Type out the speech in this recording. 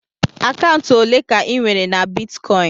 Akaụntụ ole ka inwere na bitkọịn?